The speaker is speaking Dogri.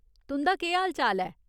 तुं'दा केह् हाल चाल ऐ ?